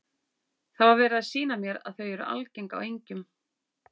Það var verið að sýna mér að þau eru algeng á engjum.